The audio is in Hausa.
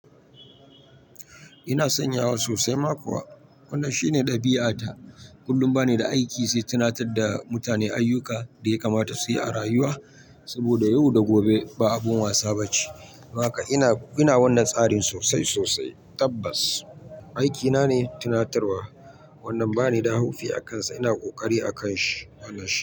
Ina sanyawa sosai ma kuwa. Wannan shine ɗabi'a ta. Kullum ba ni da aiki sai tunatar da mutane ayyuka da ya kamata su yi a rayuwa. Saboda yau da gobe ba abun wasa ba ce. Don haka ina, ina wannan tsarin sosai sosai. Tabbas aikina ne tunatarwa. Wannan bani da haufi akansa. Ina ƙoƙari akanshi wannan shi.